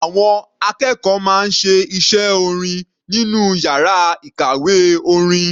Àwọn akẹ́kọ̀ọ́ máa ń ṣe iṣẹ́ orin nínú yàrá ìkàwé orin.